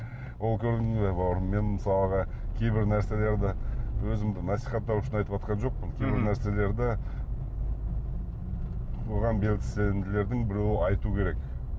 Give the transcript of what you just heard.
ол көрдің бе бауырым мен мысалға кейбір нәрселерді өзімді насихаттау үшін айтыватқан жоқпын кейбір нәрселерді оған белсенділердің біреуі айту керек